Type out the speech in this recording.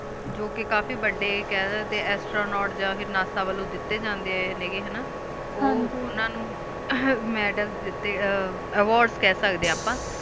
ਜੋ ਕ ਕਾਫੀ ਵਡੀ ਕੈਯ੍ਰੁਰ ਡੀ ਏਕ੍ਸਟ੍ਰਾ ਨਾਤੇ ਜਾ ਕ NASA ਦਿਤੀ ਜਾਨ੍ਡੀਯ ਨੀ ਹੇਯ੍ਗ੍ਯ ਨਾ ਹਨ ਜੀ ਓ ਓਨਾ ਨੂ ਹ੍ਮ੍ਹਾਹਾ ਮੇਦੋਲ ਡਟੀ ਆ ਅਵਾਰਡ ਕਹ ਸਕ ਡੀ ਆ ਅਪਾ